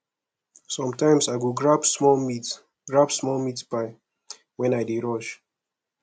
sometimes i go grab small meat grab small meat pie when i dey rush